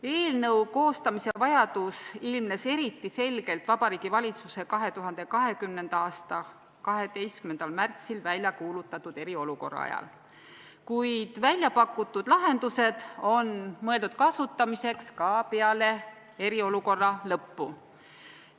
Selle eelnõu koostamise vajadus ilmnes eriti selgelt Vabariigi Valitsuse poolt 2020. aasta 12. märtsil väljakuulutatud eriolukorra ajal, kuid väljapakutud lahendused on mõeldud kasutamiseks ka peale eriolukorra lõppu.